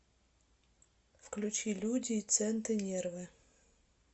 включи люди и центы нервы